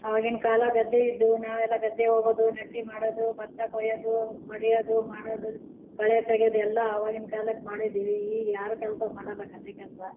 ಅವಗಿನ್ ಕಾಲ ಗದ್ದೆ ಇದ್ವು ನಾವೆಲ್ಲ ಗದ್ದೆ ಹೋಗೋದು ನೆಟ್ಟಿ ಮಾಡೋದು ಭತ್ತ ಕೋಯೋದೂ ಬಡಿಯೋದು ಮಾಡೋದು ಕಳೆ ತಗಿಯೋದು ಎಲ್ಲ ಅವಗಿನ್ ಕಾಲಾಕ್ ಮಾಡಿದ್ದೀವಿ ಈ ಯಾರು ಕೆಲಸ ಮಾಡೋಲ್ಲ ಗದ್ದೆ ಕೆಲಸ.